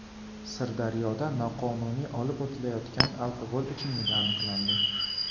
Sirdaryoda noqonuniy olib o‘tilayotgan alkogol ichimligi aniqlandi.